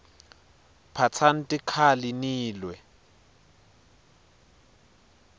phatsani tikhali nilwe